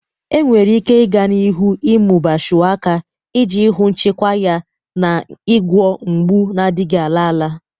Enwere ike i ga n'ihu ịmụba Shuwaka iji hụ nchekwa ya n'ịgwọ mgbu na-adịghị ala ala.